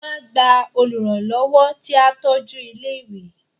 Wọ́n á gba Olùrànlọ́wọ́ tí á tọ́jú ilé ìwé